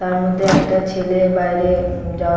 তার মধ্যে একটা ছেলে বাইরে উম যাওয়া--